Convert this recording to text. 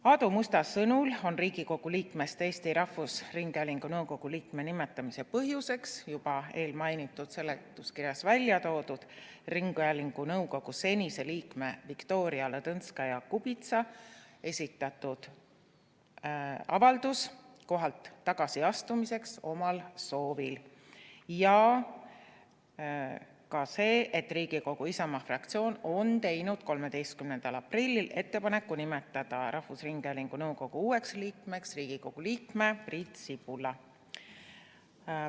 Aadu Musta sõnul on Riigikogu liikmest Eesti Rahvusringhäälingu nõukogu liikme nimetamise põhjuseks eelmainitud seletuskirjas välja toodud ringhäälingu nõukogu senise liikme Viktoria Ladõnskaja-Kubitsa esitatud avaldus omal soovil kohalt tagasiastumiseks ja ka see, et Riigikogu Isamaa fraktsioon on teinud 13. aprillil ettepaneku nimetada rahvusringhäälingu nõukogu uueks liikmeks Riigikogu liige Priit Sibul.